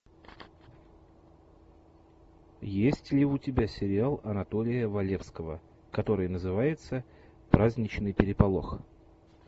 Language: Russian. есть ли у тебя сериал анатолия валевского который называется праздничный переполох